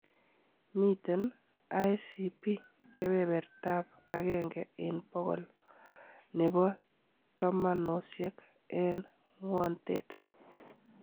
Miten ICP keberbertab agenge en bokol nebo tomonosiek en ng'wontet.